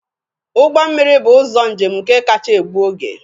Ụgbọ mmiri bụ ụzọ njem nke kacha egbu oge